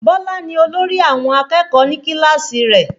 Bọlá ni olórí àwọn akẹ́kọ̀ọ́ ní kíláàsì rẹ̀